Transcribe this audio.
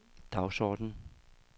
dagsorden